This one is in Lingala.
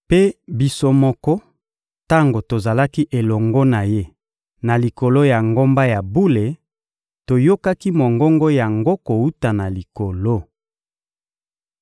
Mpe, biso moko, tango tozalaki elongo na Ye na likolo ya ngomba ya bule, toyokaki mongongo yango kowuta na Likolo.